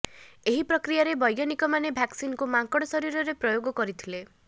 ଏହି ପ୍ରକ୍ରିୟାରେ ବୈଜ୍ଞାନିକମାନେ ଭାକସିନକୁ ମାଙ୍କଡ ଶରୀରରେ ପ୍ରୟୋଗ କରିଥିଲେ